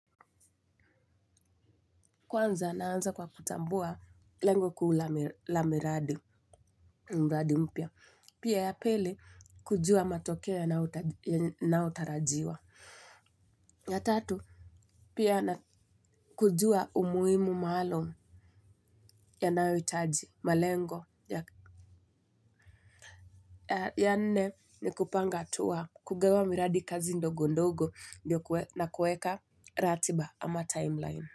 Kwanza naanza kwa kutambua lengo kuu la miradi mpya. Pia ya pili kujua matokeo yanayotarajiwa. Ya tatu, pia na kujua umuhimu maalum yanayohitaji malengo. Ya nne ni kupanga hatua kugawa miradi kazi ndogo ndogo na kuweka ratiba ama timeline.